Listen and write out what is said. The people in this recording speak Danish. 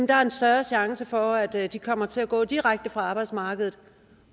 der en større chance for at de kommer til at gå direkte fra arbejdsmarkedet